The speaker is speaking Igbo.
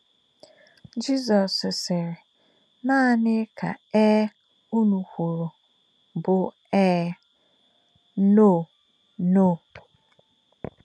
Jizọ́s sị̀rị̀: “Nà̄ní̀ kā̄ Éē ūnù̄ kwù̄rù̄ bù̄ Éē, Nò̄, Nò̄.”